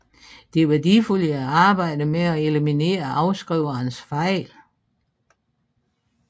Det er værdifuldt i arbejdet med at eliminere afskrivernes fejl